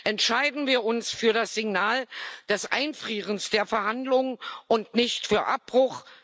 Entscheiden wir uns für das Signal des Einfrierens der Verhandlungen und nicht für Abbruch.